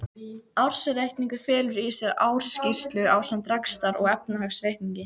Ársreikningur felur í sér ársskýrslu ásamt rekstrar- og efnahagsreikningi.